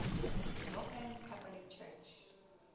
roman catholic church